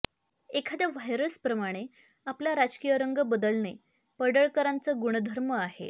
एखाद्या व्हायरसप्रमाणे आपला राजकिय रंग बदलणे पडळकरांचा गुणधर्म आहे